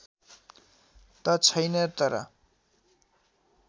त छैन तर